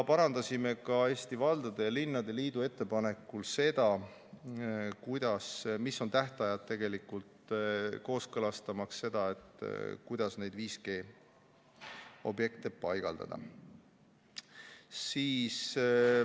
Parandasime ka Eesti Linnade ja Valdade Liidu ettepanekul tähtaegu, kooskõlastamaks seda, kuidas 5G objekte paigaldada.